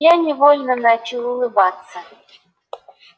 я невольно начал улыбаться